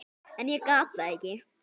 En ég gat það ekki.